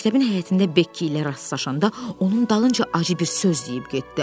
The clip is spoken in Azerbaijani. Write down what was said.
Məktəbin həyətində Bekki ilə rastlaşanda onun dalınca acı bir söz deyib getdi.